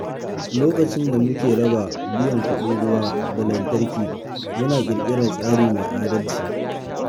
Lokacin da muke raba biyan kuɗin ruwa da lantarki, muna ƙirƙirar tsari mai adalci.